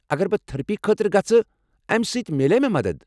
اگر بہٕ تھرپی خٲطرٕ گژھہٕ امہِ سۭتۍ میلِیا مےٚ مدتھ ؟